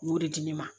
U y'o de di ne ma